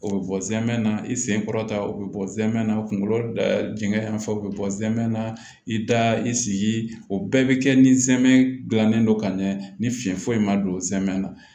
O bɛ bɔ zɛmɛ na i sen kɔrɔ ta o bɛ bɔ zɛmɛ na kunkolo jɛngɛ yan fɛ u bɛ bɔ zɛmɛ na i da i sigi o bɛɛ bɛ kɛ ni zɛmɛ dilannen don ka ɲɛ ni fiɲɛ foyi ma don zɛmɛ na